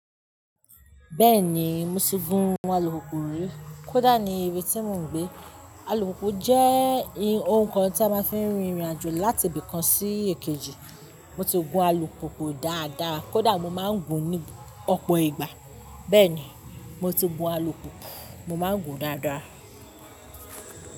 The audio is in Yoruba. Bẹ́ẹ̀ni, mo ti gun alùpùpù rí. Kódà ní ibi tí mò ń gbé. Alùpùpù jẹ́ ohun kan tí a máa ń fi rìnrìn àjò láti ibì kan sí èkejì. Mo ti gun alùpùpù dáadáa, kódà mo máa ń gun ní ọ̀pọ̀ ìgbà. Bẹ́ẹ̀ni, mo ti gun alùpùpù, mo máa ń gun dáadáa.